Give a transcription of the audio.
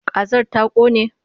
Kazar ta ƙone?